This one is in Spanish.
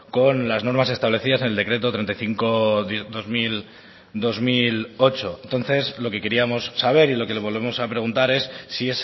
con las normas establecidas en el decreto treinta y cinco barra dos mil ocho entonces lo que queríamos saber y lo que le volvemos a preguntar es si